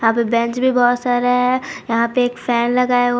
Bench भी बहुत सारे हैं यहां पे एक फैन लगा हुआ है।